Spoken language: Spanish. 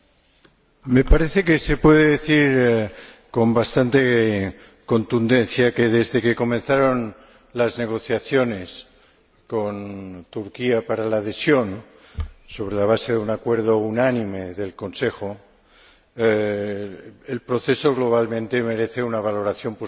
Me parece que se puede decir con bastante contundencia que, desde que comenzaron las negociaciones para la adhesión con Turquía, sobre la base de un acuerdo unánime del Consejo, el proceso globalmente merece una valoración positiva.